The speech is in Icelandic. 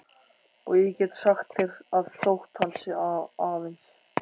Og ég get sagt þér að þótt hann sé aðeins